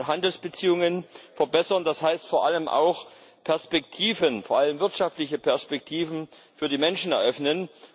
Aber Handelsbeziehungen verbessern, das heißt vor allem auch, Perspektiven vor allem wirtschaftliche Perspektiven für die Menschen eröffnen.